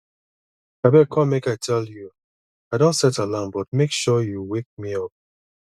abeg come make i tell you i don set alarm but make sure you wake me up